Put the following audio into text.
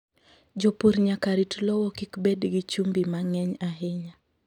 Jopur nyaka rit lowo kik bed gi chumbi mang'eny ahinya.